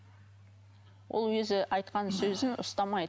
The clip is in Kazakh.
ол өзі айтқан сөзін ұстамайды